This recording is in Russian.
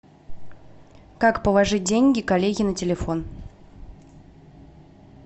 как положить деньги коллеге на телефон